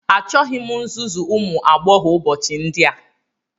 Achọghị m nzuzu ụmụ agbọghọ ụbọchị ndị a